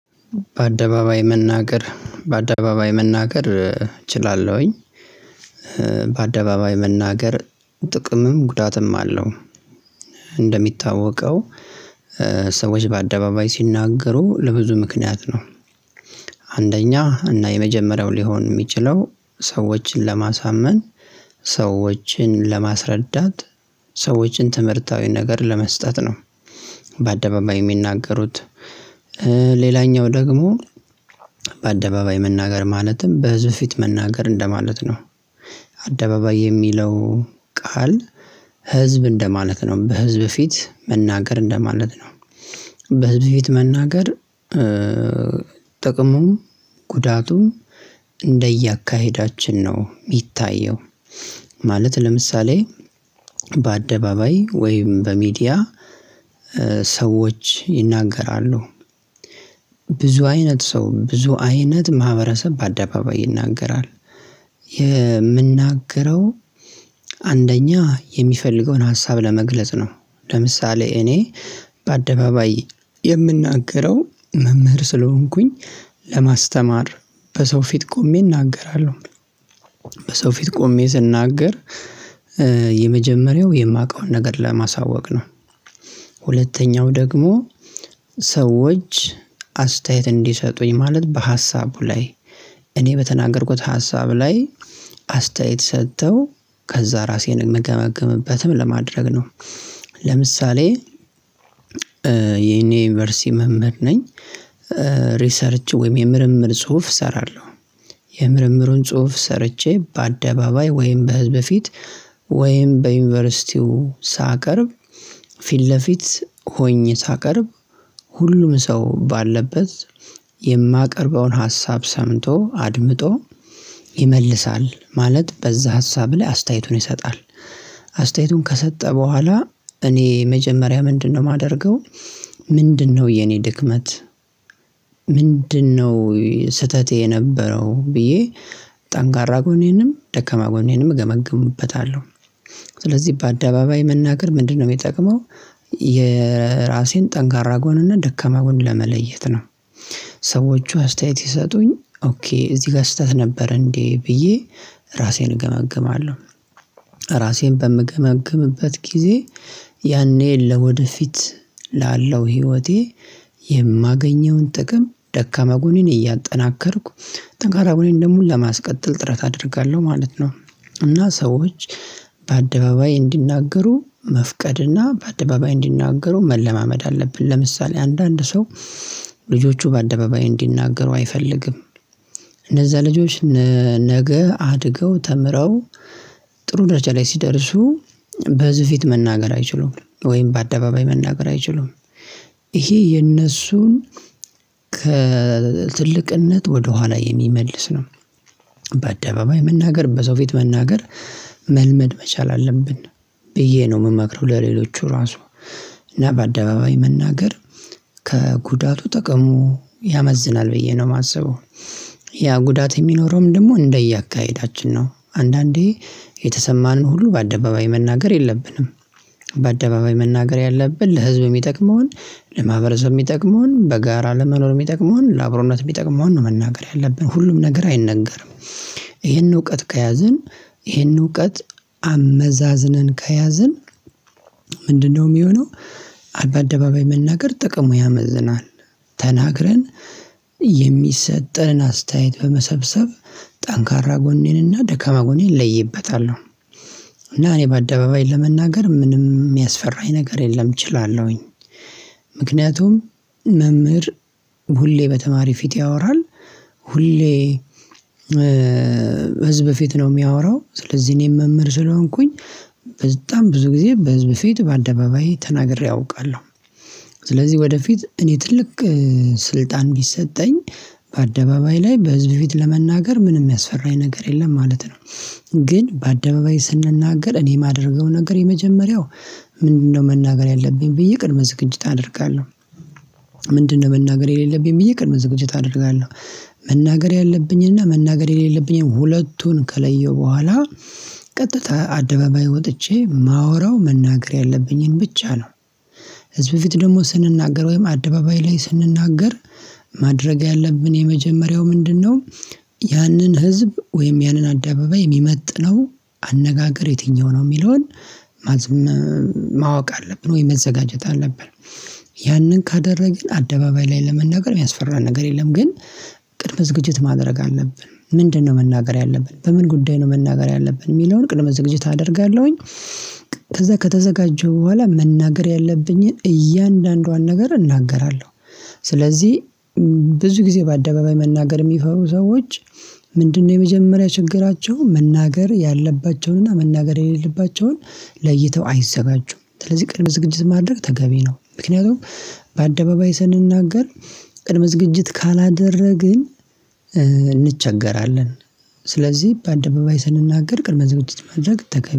በአደባባይ መናገር በአደባባይ መናገር እችላለሁኝ። በአደባባይ መናገር ጥቅምም ጉዳትም አለው። እንደሚታወቀው ሰዎች በአደባባይ ሲናገሩ ለብዙ ምክንያት ነው። አንደኛ እና የመጀመሪያው ሊሆን የሚችለው ሰዎችን ለማሳመን ሰዎችን ለማስረዳት ሰዎችን ትምህርታዊ ነገር ለመስጠት ነው። በአደባባይ የሚናገሩት። ሌላኛው ደግሞ በአደባባይ መናገር ማለትም በህዝብ ፊት መናገር እንደማለት ነው። አደባባይ የሚለው ቃል ህዝብ እንደማለት ነው በህዝብ ፊት መናገር እንደማለት ነው። በህዝብ ፊት መናገር። ጥቅሙ ጉዳቱን እንደ አካሄዳችን ነው የሚታየው። ማለት ለምሳሌ በአደባባይ ወይም በሚዲያ ሰዎች ይናገራሉ። ብዙ አይነት ሰው ብዙ አይነት ማህበረሰብ በአደባባይ ይናገራል። የሚናገረው አንደኛ የሚፈልገውን ሀሳብ ለመግለጽ ነው። ለምሳሌ እኔ በአደባባይ የምናገረው መምህር ስለሆንኩኝ ለማስተማር በሰው ፊት ቆሜ እናገራለሁ። በሰው ፊት ቆሜ ስናገር የመጀመሪያው የማውቀውን ነገር ለማሳወቅ ነው። ሁለተኛው ደግሞ ሰዎች አስተያየት እንዲሰጡኝ ማለት በሀሳቡ ላይ እኔ በተናገርኩት ሀሳብ ላይ አስተያየት ሰጥተው ከዛ ራሴን እምገመግምበትም ለማድረግ ነው። ለምሳሌ እኔ የዩኒቨርሲቲ መምህር ነኝ። ሪሰርች ወይም የምርምር ጽሁፍ እሰራለሁ። የምርምሩን ጽሁፍ ሰርቼ በአደባባይ ወይም በህዝብ ፊት ወይም በዩኒቨርሲቲው ሳቀርብ ፊት ለፊት ሆኜ ሳቀርብ ሁሉም ሰው ባለበት የማቀርበውን ሀሳብ ሰምቶ አድምጦ ይመልሳል ማለት በዛ ሀሳብ ላይ አስተያየቱን ይሰጣል። አስተያየቱን ከሰጠ በኋላ እኔ መጀመሪያ ምንድነው የማደርገው? ምንድነው የኔ ድክመት? ምንድነው ስህተቴ የነበረው ብዬ ጠንካራ ጎኔንም ደከማ ጎኔንም እገመግምበታለሁ። ስለዚህ በአደባባይ መናገር ምንድነው የሚጠቅመው? የራሴን ጠንካራ ጎንና ደካማ ጎን ለመለየት ነው። ሰዎቹ አስተያየት ሲሰጡኝ ኦኬ እዚህ ጋር ስህተት ነበር እንዴ ብዬ ራሴን እገመግማለሁ። ራሴን በምገመግምበት ጊዜ ያኔ ለወደፊት ላለው ህይወቴ የማገኘውን ጥቅም ደካማ ጎኔን እያጠናከርኩ ጠንካራ ጎኔን ደግሞ ለማስቀጠል ጥረት አደርጋለሁ ማለት ነው። እና ሰዎች በአደባባይ እንዲናገሩ መፍቀድና በአደባባይ እንዲናገሩ መለማመድ አለብን ለምሳሌ አንዳንድ ሰው ልጆቹ በአደባባይ እንዲናገሩ አይፈልግም። እነዛ ልጆች ነገ አድገው ተምረው ጥሩ ደረጃ ላይ ሲደርሱ በህዝብ ፊት መናገር አይችሉም ወይም በአደባባይ መናገር አይችሉም። ይሄ የነሱን ከትልቅነት ወደኋላ የሚመልስ ነው። በአደባባይ መናገር በሰው ፊት መናገር መልመድ መቻል አለብን። ብዬ ነው የምመክረው። ለሌሎቹ ራሱ እና በአደባባይ መናገር ከጉዳቱ ጥቅሙ ያመዝናል ብዬ ነው የማስበው። ያ ጉዳት የሚኖረውም ደግሞ እንደ አካሄዳችን ነው አንዳንዴ የተሰማንን ሁሉ በአደባባይ መናገር የለብንም። በአደባባይ መናገር ያለብን ለህዝብ የሚጠቅመውን ለማህበረሰብ የሚጠቅመውን በጋራ ለመኖር የሚጠቅመውን ለአብሮነት የሚጠቅመውን ነው መናገር ያለብን ሁሉም ነገር አይነገርም። ይህን እውቀት ከያዝን ይሄን እውቀት አመዛዝንን ከያዝን ምንድነው የሚሆነው? በአደባባይ መናገር ጥቅሙ ያመዝናል። ተናግረን የሚሰጠንን አስተያየት በመሰብሰብ ጠንካራ ጎኔንና ደካማ ጎኔን እለይበታለሁ። እና እኔ በአደባባይ ለመናገር ምንም የሚያስፈራኝ ነገር የለም እችላለሁኝ። ምክንያቱም መምህር ሁሌ በተማሪ ፊት ያወራል። ሁሌ ህዝብ ፊት ነው የሚያወራው። ስለዚህ እኔም መምህር ስለሆንኩኝ በጣም ብዙ ጊዜ በህዝብ ፊት በአደባባይ ተናግሬ አውቃለሁ። ስለዚህ ወደፊት እኔ ትልቅ ስልጣን ቢሰጠኝ በአደባባይ ላይ በህዝብ ፊት ለመናገር ምንም የሚያስፈራ የነገር የለም ማለት ነው። ግን በአደባባይ ስንናገር እኔ የማደርገው ነገር የመጀመሪያው ምንድነው መናገር ያለብኝ ብዬ ቅድመ ዝግጅት አደርጋለሁ። ምንድነው መናገር የሌለብኝ ብዬ ቅድመ ዝግጅት አደርጋለሁ። መናገር ያለብኝና መናገር የሌለብኝን ሁለቱን ከለየው በኋላ ቀጥታ አደባባይ ወጥቼ የማወራው መናገር ያለብኝን ብቻ ነው። ህዝብ ፊት ደግሞ ስንናገር ወይም አደባባይ ላይ ስንናገር ማድረግ ያለብን የመጀመሪያው ምንድነው? ያንን ህዝብ ወይም ያንን አደባባይ የሚመጥነው አነጋገር የትኛው ነው የሚለውን ማወቅ አለብን ወይ መዘጋጀት አለብን። ያንን ካደረግን አደባባይ ላይ ለመናገር የሚያስፈራ ነገር የለም። ግን ቅድመ ዝግጅት ማድረግ አለብን ምንድነው መናገር ያለብን በምን ጉዳይ ነው መናገር ያለብን የሚለውን ቅድመ ዝግጅት አደርጋለሁኝ። ከዛ ከተዘጋጀሁ በኋላ መናገር ያለብኝን እያንዳንዷን ነገር እናገራለሁ። ስለዚህ ብዙ ጊዜ በአደባባይ መናገር የሚፈሩ ሰዎች ምንድነው የመጀመሪያ ችግራቸው መናገር ያለባቸውን እና መናገር የሌለባቸውን ለይተው አይዘጋቹም ስለዚህ ቅርብ ዝግጅት ማድረግ ተገቢ ነው። ምክንያቱም በአደባባይ ስንናገር ቅድመ ዝግጅት ካላደረግን እንቸገራለን። ስለዚህ በአደባባይ ስንናገር ቅድመ ዝግጅት ማድረግ ተገቢ